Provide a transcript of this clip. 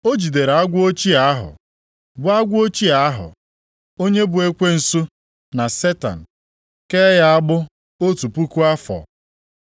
O jidere agwọ ochie ahụ, bụ agwọ ochie ahụ, onye bụ Ekwensu na Setan, kee ya agbụ otu puku afọ.